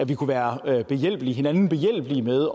vi kunne være hinanden behjælpelige med